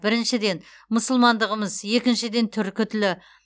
біріншіден мұсылмандығымыз екіншіден түркі тілі